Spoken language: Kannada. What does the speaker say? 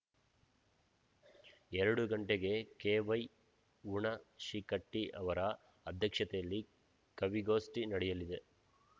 ಎರಡು ಗಂಟೆಗೆ ಕೆ ವೈ ಹುಣಶಿಕಟ್ಟಿಯವರ ಅಧ್ಯಕ್ಷತೆಯಲ್ಲಿ ಕವಿಗೋಷ್ಠಿ ನಡೆಯಲಿದೆ